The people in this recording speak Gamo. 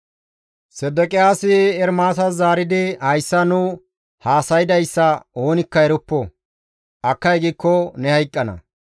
Sedeqiyaasi Ermaasas zaaridi, «Hayssa nu haasaydayssa oonikka eroppo; akkay giikko ne hayqqana.